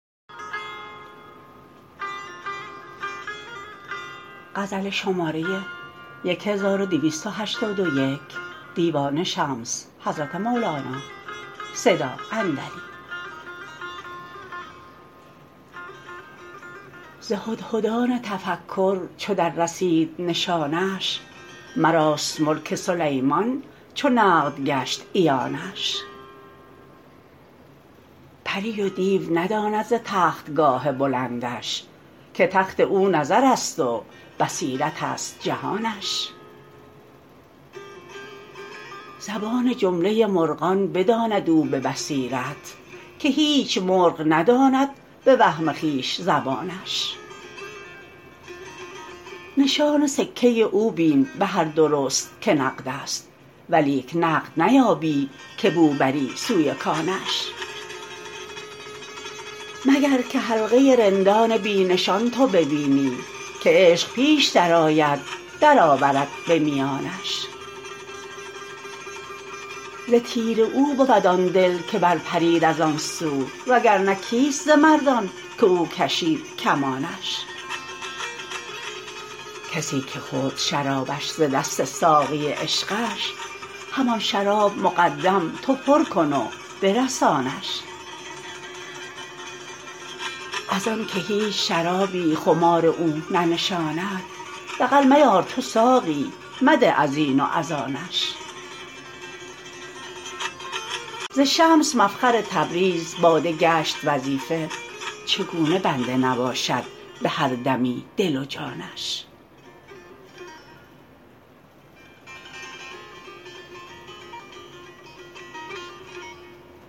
ز هدهدان تفکر چو دررسید نشانش مراست ملک سلیمان چو نقد گشت عیانش پری و دیو نداند ز تختگاه بلندش که تخت او نظرست و بصیرتست جهانش زبان جمله مرغان بداند او به بصیرت که هیچ مرغ نداند به وهم خویش زبانش نشان سکه او بین به هر درست که نقدست ولیک نقد نیابی که بو بری سوی کانش مگر که حلقه رندان بی نشان تو ببینی که عشق پیش درآید درآورد به میانش ز تیر او بود آن دل که برپرید از آن سو وگر نه کیست ز مردان که او کشید کمانش کسی که خورد شرابش ز دست ساقی عشقش همان شراب مقدم تو پر کن و برسانش از آنک هیچ شرابی خمار او ننشاند دغل میار تو ساقی مده از این و از آنش ز شمس مفخر تبریز باده گشت وظیفه چگونه بنده نباشد به هر دمی دل و جانش